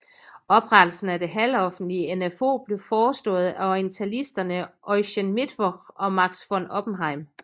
Oprettelsen af det halvoffentlige NfO blev forestået af orientalisterne Eugen Mittwoch og Max von Oppenheim